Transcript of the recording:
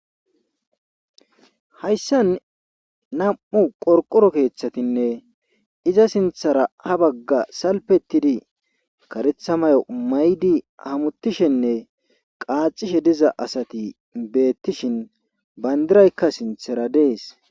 hayssan nam7u qorqoro keeththatinne iza sinthara ha bagga salpetidi karetha mayo maydi hamutishenne qaacishe diza asati beettishin bayndiraykka sinthara dees